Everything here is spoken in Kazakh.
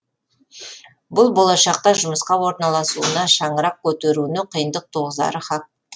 бұл болашақта жұмысқа орналасуына шаңырақ көтеруіне қиындық туғызары хақ